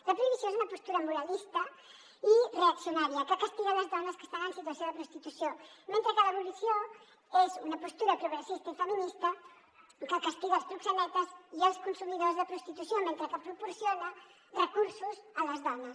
la prohibició és una postura moralista i reaccionària que castiga les dones que estan en situació de prostitució mentre que l’abolició és una postura progressista i feminista que castiga els proxenetes i els consumidors de prostitució mentre que proporciona recursos a les dones